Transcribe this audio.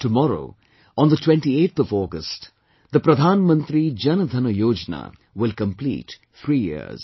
Tomorrow on the 28th of August, the Pradhan Mantri Jan DhanYojna will complete three years